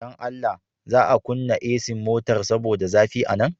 Dan Allah. za a kunna AC motar saboda zafi a nan.